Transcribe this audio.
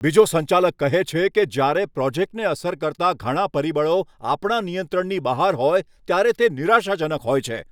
બીજો સંચાલક કહે છે કે, જ્યારે પ્રોજેક્ટને અસર કરતા ઘણા પરિબળો આપણા નિયંત્રણની બહાર હોય ત્યારે તે નિરાશાજનક હોય છે.